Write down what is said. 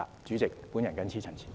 主席，我謹此陳辭。